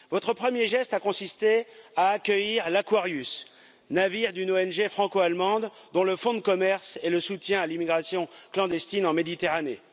Votre premier geste a consisté à accueillir l'Aquarius, navire d'une ONG franco-allemande, dont le fonds de commerce est le soutien à l'immigration clandestine en Méditerranée.